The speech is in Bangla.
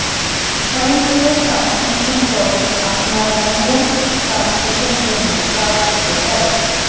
স্বয়ংক্রিয় ট্রান্সমিশন তরল আপনার ম্যানুয়াল ট্রান্সমিশন জন্য কাজ হতে পারে